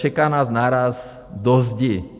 Čeká nás náraz do zdi.